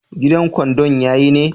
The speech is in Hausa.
Gidan kwandon ya ye ne?